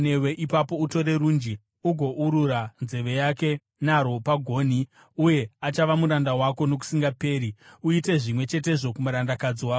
ipapo utore runji ugourura nzeve yake narwo pagonhi, uye achava muranda wako nokusingaperi. Uite zvimwe chetezvo kumurandakadzi wako.